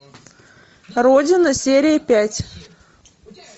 родина серия пять